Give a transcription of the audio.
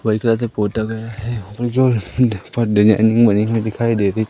white colour से पोता गया हैं जो डिजाइनिंग बनी हुई दिखाई दे रही--